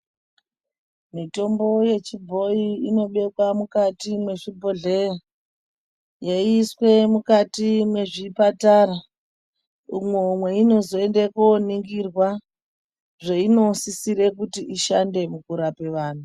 Mitombo yechibhoyi inobekwa mukati mwezvibhodhleya yeiiswe mukati mwezvipatara umwo mweinozoende kooningirwa zveinosisire kuti ishande mukurapa vanhu.